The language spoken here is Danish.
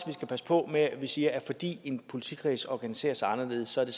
vi skal passe på med at sige at fordi en politikreds organiserer sig anderledes er det